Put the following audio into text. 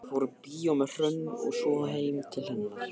Fór í bíó með Hrönn og svo heim til hennar.